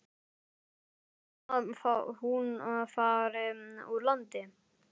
Ertu hrædd um að hún fari úr landi?